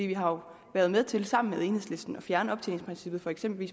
vi har jo været med til sammen med enhedslisten at fjerne optjeningsprincippet for eksempel i